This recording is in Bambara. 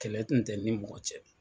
Kɛlɛ tun tɛ n ni mɔgɔ cɛ.